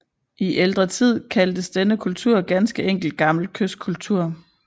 I ældre tid kaldtes denne kultur ganske enkelt Gammel Kystkultur